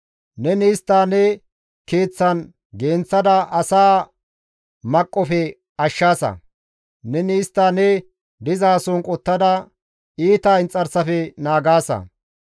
Neni istta ne keeththan genththada asaa maqqofe ashshaasa; neni istta ne dizason qottada iita inxarsafe naagaasa.